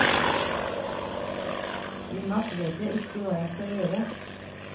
I natt vet jeg ikke hva jeg skal gjøre.